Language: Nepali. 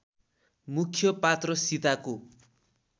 मुख्य पात्र सीताको